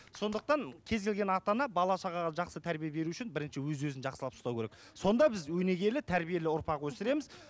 сондықтан кез келген ата ана бала шағаға жақсы тәрбе беру үшін бірінші өз өзін жақсылап ұстау керек сонда біз өнегелі тәрбиелі ұрпақ өсіреміз